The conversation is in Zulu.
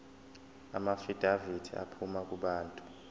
amaafidavithi aphuma kubantu